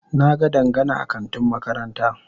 Na ga Dangana a kantin makaranta.